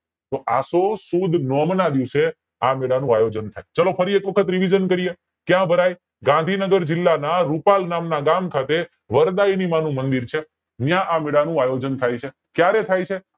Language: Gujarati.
તો આસો સુદ નોમ ના દિવસે આ મેળા નું આયોજન થાય છે ચાલો ફરી એક વખત revision કરીયે ક્યાં ભરાય ગાંધીનગર જિલ્લા ના રૂપાલ નામ ના ગામ ખાતે વરદાયી માનું મંદિર છે ત્યાં આ મેલા નું આયોજન થાય છે ક્યારે થાય છે